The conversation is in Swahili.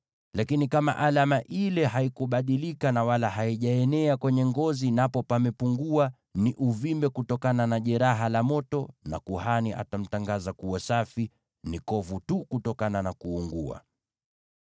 Lakini, kama alama ile haikubadilika na wala haijaenea kwenye ngozi, napo pamepungua, ni uvimbe kutokana na jeraha la moto, na kuhani atamtangaza kuwa safi; ni kovu tu kutokana na kuungua.